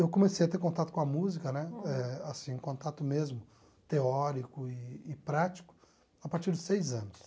Eu comecei a ter contato com a música né eh assim, contato mesmo teórico e e prático, a partir dos seis anos.